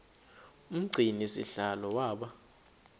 umgcini sihlalo waba